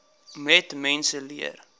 net mense leer